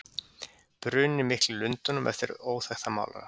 Bruninn mikli í Lundúnum eftir óþekktan málara.